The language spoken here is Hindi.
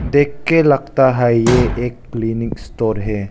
देख के लगता है ये एक क्लीनिक स्टोर है।